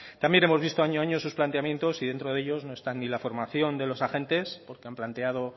también hemos visto año a año sus planteamientos y dentro de ellos no están ni la formación de los agentes porque han planteado